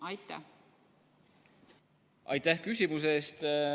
Aitäh küsimuse eest!